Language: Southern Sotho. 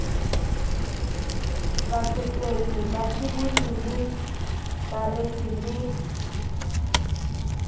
batsetedi basibolli le bareki le